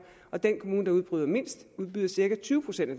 og den kommune der udbyder mindst udbyder cirka tyve procent af